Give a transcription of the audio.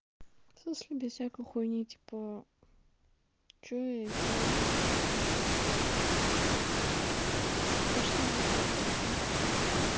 в смысле без всякой хуйни типа что я сделала пошли в дискорт заебала